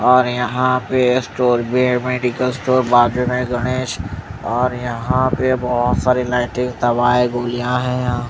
और यहां पे स्टोर वेय मेडिकल स्टोर बाद में गणेश और यहां पे बहोत सारी लाइटिंग तब आए गोलियां है यहां--